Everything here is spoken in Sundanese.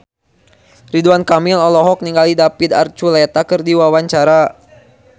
Ridwan Kamil olohok ningali David Archuletta keur diwawancara